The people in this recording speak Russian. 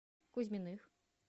кузьминых